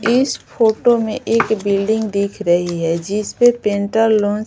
इस फोटो में एक बिल्डिंग दिख रही है जिस पे पेंटर लोन --